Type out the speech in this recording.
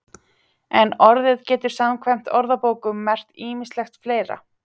En orðið getur samkvæmt orðabókum merkt ýmislegt fleira.